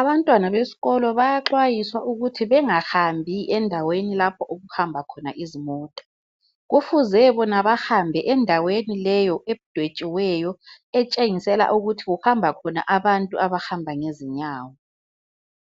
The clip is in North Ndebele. Abantwana besikolo bayaxwayiswa ukuthi bengahambi endaweni lapha okuhamba khona izimota. Kufuze bahambe endaweni leyo edwetshiweyo etshengisela ukuthi kuhamba khona abantu abahamba ngezinyawo.